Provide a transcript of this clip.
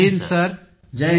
सगळे छात्र जय हिंद सर